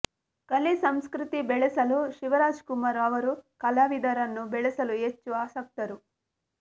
ಕಲೆ ಸಂಸ್ಕೃತಿ ಬೆಳೆಸಲು ಶಿವರಾಜ್ಕುಮಾರ್ ಅವರು ಕಲಾವಿದರನ್ನು ಬೆಳೆಸಲು ಹೆಚ್ಚು ಆಸಕ್ತರು